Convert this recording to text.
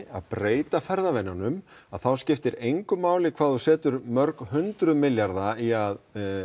að breyta ferðavenjum þá skiptir engu máli hvað þú setur mörg hundruð milljarða í að